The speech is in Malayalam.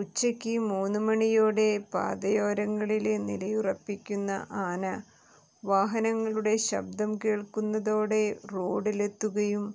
ഉച്ചയ്ക്ക് മൂന്നുമണിയോടെ പാതയോരങ്ങളില് നിലയുറപ്പിക്കുന്ന ആന വാഹനങ്ങളുടെ ശബ്ദം കേള്ക്കുന്നതോടെ റോഡില് എത്തുകയും